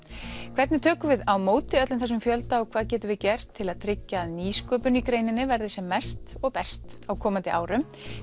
hvernig tökum við á móti öllum þessum fjölda og hvað getum við gert til að tryggja að nýsköpun í greininni verði sem mest og best á komandi árum